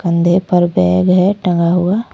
कंधे पर बैग है टंगा हुआ।